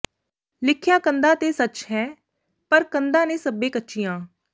ਲਿਖਿਆ ਕੰਧਾਂ ਤੇ ਸੱਚ ਹੈ ਪਰ ਕੰਧਾਂ ਨੇ ਸੱਭੇ ਕੱਚੀਆਂ